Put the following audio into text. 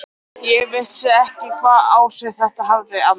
Ég vissi ekki hvaða áhrif það hefði á þig.